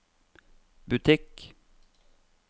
butikk